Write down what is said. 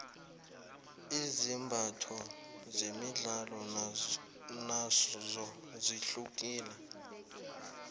izimbatho zemidlalo nozo zihlukile